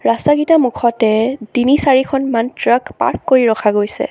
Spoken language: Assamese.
ৰাস্তাকিটাৰ মুখতে তিনি-চাৰিখনমান ট্ৰাক পাৰ্ক কৰি ৰখা গৈছে।